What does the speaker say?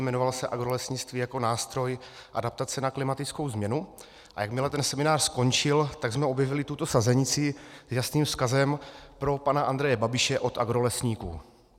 Jmenoval se Agrolesnictví jako nástroj adaptace na klimatickou změnu, a jakmile ten seminář skončil, tak jsme objevili tuto sazenici s jasným vzkazem pro pana Andreje Babiše od agrolesníků.